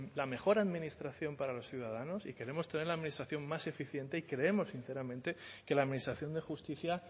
la mejor administración para los ciudadanos y queremos tener la administración más eficiente y creemos sinceramente que la administración de justicia